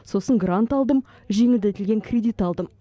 сосын грант алдым жеңілдетілген кредит алдым